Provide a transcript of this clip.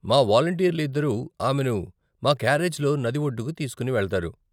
మా వాలంటీర్లు ఇద్దరు ఆమెను మా క్యారేజ్లో నది ఒడ్డుకు తీసుకుని వెళతారు.